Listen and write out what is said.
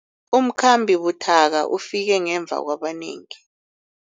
Umkhambi buthaka ufike ngemva kwabanengi.